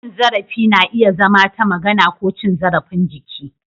Cin zarafi na iya zama ta magana ko cin zarafin jiki.